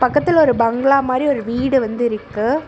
பக்கத்தில் ஒரு பங்களா மாரி ஒரு வீடு வந்து இருக்கு.